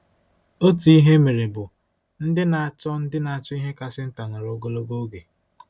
Otu ihe e mere bụ: “ Ndị na-achọ “ Ndị na-achọ ihe kasị nta nọrọ ogologo oge